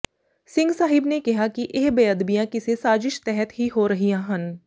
ਸਿੰਘ ਸਾਹਿਬ ਨੇ ਕਿਹਾ ਕਿ ਇਹ ਬੇਅਦਬੀਆਂ ਕਿਸੇ ਸਾਜਿਸ਼ ਤਹਿਤ ਹੀ ਹੋ ਰਹੀਆਂ ਹਨ